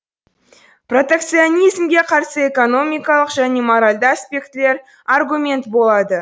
протекционизмге қарсы экономикалық және моральді аспектілер аргумент болады